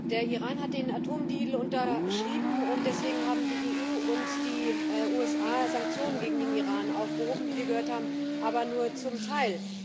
Der Iran hat den Atomdeal unterschrieben und deswegen haben die EU und die USA die Sanktionen gegen den Iran aufgehoben, wie wir gehört haben, aber nur zum Teil.